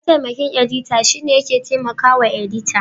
Mataimakin edita shine yake taimakawa edita.